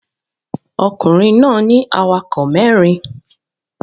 Ọkùnrin náà ní awakọ̀ mẹ́rin